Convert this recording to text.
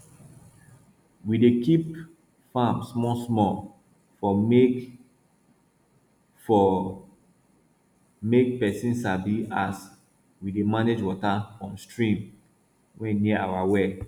we dey keep farm small small for make for make pesin sabi as we dey manage water from stream wey near our well